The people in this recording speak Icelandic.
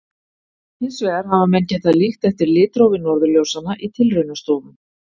Hins vegar hafa menn getað líkt eftir litrófi norðurljósanna í tilraunastofum.